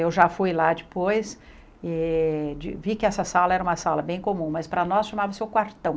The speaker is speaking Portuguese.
Eu já fui lá depois e vi que essa sala era uma sala bem comum, mas para nós chamava-se o quartão.